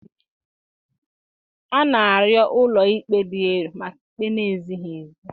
A na-arịọ ụlọ ikpe dị elu maka ikpe na-ezighị ezi